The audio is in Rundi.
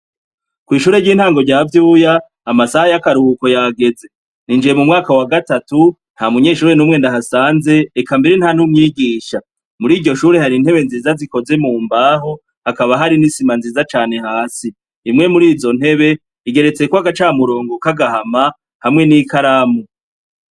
Kw'ishure ry'intango rya Vyuya, amasaha y'akaruhuko yageze, ninjiye mu mwaka wa gatatu nta munyeshure n'umwe ndahasanze eka mbere nta n'umwigisha, muri iryo shure, hari intebe nziza zikoze mu mbaho, hakaba hari n'isima nziza cane hasi, imwe muri izo ntebe igeretseko agacamurongo kagahama hamwe n'ikaramu.